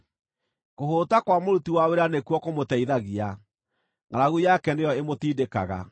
Kũhũũta kwa mũruti wa wĩra nĩkuo kũmũteithagia, ngʼaragu yake nĩyo ĩmũtindĩkaga.